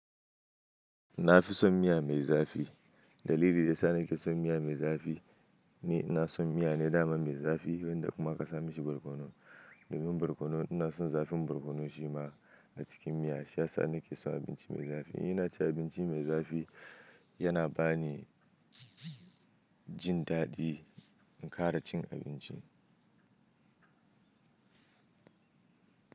Na fi son miya mai zafi. Dalili da yasa na ke son miya mai zafi ne, ni ina son miya ne dama mai zafi wanda kuma aka sa mishi barkono. Domin barkono ina son zafin barkono shima a cikin miya, shiyasa nake son abinci mai zafi. Ina cin abinci mai zafi, yana ba ni jin daɗi in kara cin abinci.